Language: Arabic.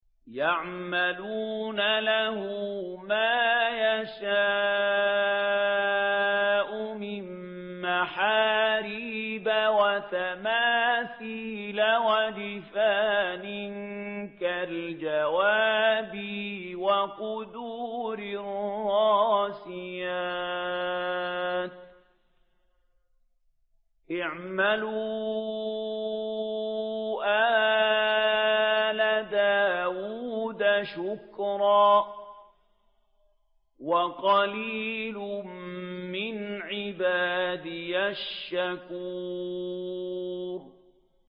يَعْمَلُونَ لَهُ مَا يَشَاءُ مِن مَّحَارِيبَ وَتَمَاثِيلَ وَجِفَانٍ كَالْجَوَابِ وَقُدُورٍ رَّاسِيَاتٍ ۚ اعْمَلُوا آلَ دَاوُودَ شُكْرًا ۚ وَقَلِيلٌ مِّنْ عِبَادِيَ الشَّكُورُ